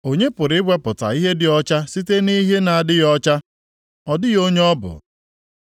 Onye pụrụ iwepụta ihe dị ọcha site nʼihe na-adịghị ọcha? Ọ dịghị onye ọ bụ.